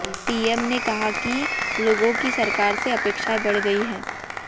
PM ने कहा कि लोगों की सरकार से अपेक्षाएं बढ़ गई हैं